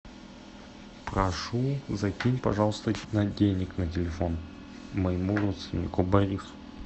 прошу закинь пожалуйста денег на телефон моему родственнику борису